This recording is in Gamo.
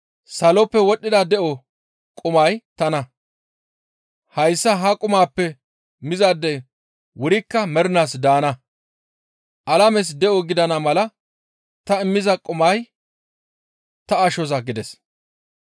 Saloppe wodhdhida de7o qumay tana; hayssa ha qumaappe mizaadey wurikka mernaas daana. Alames de7o gidana mala ta immiza qumay ta ashoza» gides.